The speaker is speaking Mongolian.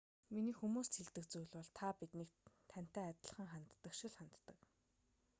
миний хүмүүст хэлдэг зүйл бол та биднийг тантай ханддаг шиг л ханддаг